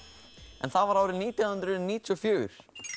en það var árið nítján hundruð níutíu og fjögur